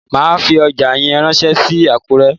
Màá fi ọjà yẹn ránsé sí Àkúré